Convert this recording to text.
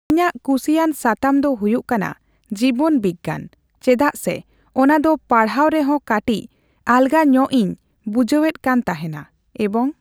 ᱤᱧᱟᱹᱜ ᱠᱩᱥᱤᱭᱟᱱ ᱥᱟᱛᱟᱢ ᱫᱚ ᱦᱩᱭᱩᱜ ᱠᱟᱱᱟ ᱡᱤᱵᱚᱱ ᱵᱤᱜᱽᱜᱟᱱ, ᱪᱮᱫᱟᱜ ᱥᱮ ᱚᱱᱟ ᱫᱚ ᱯᱟᱲᱦᱟᱣ ᱨᱮᱦᱚ ᱠᱟᱴᱤᱪ ᱟᱞᱜᱟ ᱧᱚᱜ ᱤᱧ ᱵᱩᱡᱮᱫ ᱠᱟᱱ ᱛᱟᱦᱮᱸᱱᱟ ᱾ᱮᱵᱚᱝ